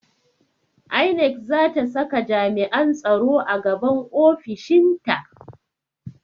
INEC zata saka jami'an tsaro a gaban ofishinta